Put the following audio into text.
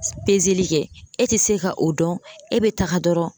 li kɛ e te se ka o dɔn , e be taga dɔrɔn